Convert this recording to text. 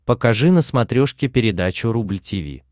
покажи на смотрешке передачу рубль ти ви